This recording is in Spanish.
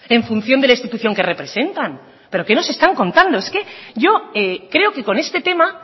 en función de la institución que representan pero qué nos están contando es que yo creo que con este tema